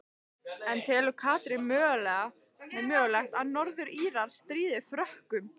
En telur Katrín mögulegt að Norður Írar stríði Frökkum?